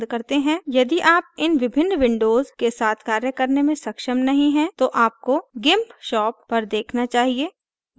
यदि आप इन विभिन्न windows के साथ कार्य करने में सक्षम नहीं हैं तो आपको gimpshop पर देखना चाहिए